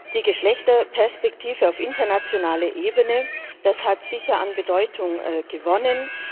Die Geschlechterperspektive auf internationaler Ebene hat sicher an Bedeutung gewonnen.